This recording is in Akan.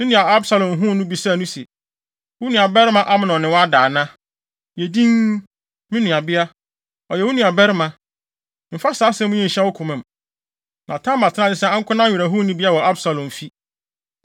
Ne nuabarima Absalom huu no bisaa no se, “Wo nuabarima Amnon ne wo ada ana? Yɛ dinn, me nuabea; ɔyɛ wo nuabarima. Mfa saa asɛm yi nhyɛ wo koma mu.” Na Tamar tenaa ase sɛ ankonam werɛhonibea wɔ Absalom fi.